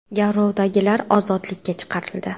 Garovdagilar ozodlikka chiqarildi.